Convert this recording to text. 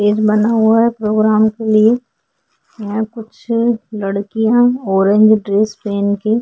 stage बना हुआ है प्रोग्राम के लिए यहाँ कुछ लड़कीया ऑरेंज ड्रेस पेहेन के --